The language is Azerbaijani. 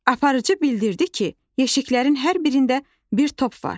Aparıcı bildirdi ki, yeşiklərin hər birində bir top var.